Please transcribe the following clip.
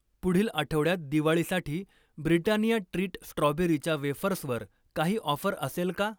पुढील आठवड्यात दिवाळीसाठी ब्रिटानिया ट्रीट स्ट्रॉबेरीच्या वेफर्सवर काही ऑफर असेल का?